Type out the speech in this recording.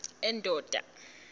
endonda